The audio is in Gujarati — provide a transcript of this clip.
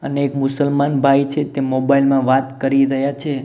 અને એક મુસલમાન ભાઈ છે તે મોબાઇલ માં વાત કરી રહ્યા છે.